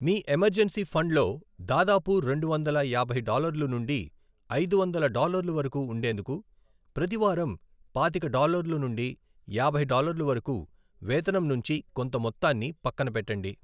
మీ emergency ఫండ్లో దాదాపు రెండువందల యాభై డాలర్లు నుండి ఐదు వందల డాలర్లు వరకు ఉండేందుకు ప్రతి వారం పాతిక డాలర్లు నుండి యాభై డాలర్లు వరకు వేతనం నుంచి కొంత మొత్తాన్ని పక్కన పెట్టండి.